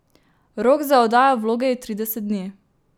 Rok za oddajo vloge je trideset dni.